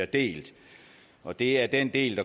delt og det er den del